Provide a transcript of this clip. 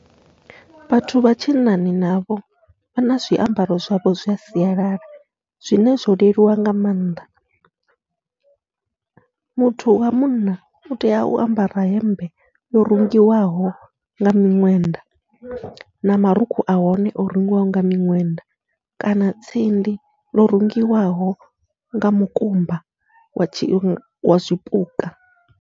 Vhathu vha tshinnani navho vha na zwiambaro zwavho zwa sialala zwine zwo leluwa nga maanḓa, muthu wa munna utea u ambara hemmbe yo rungiwaho nga miṅwenda na marukhu ahone o rungiwaho nga miṅwenda, kana tsindi yo rungiwaho nga mukumba wa tshi zwipuka.